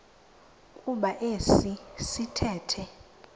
kuba esi sithethe